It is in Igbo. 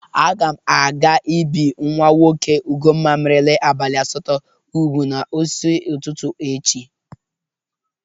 Aga m aga ibi nwa nwoke Ugomma merela abalị asatọ ubu n'isi ụtụtụ echi